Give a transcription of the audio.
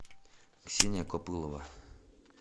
ксения копылова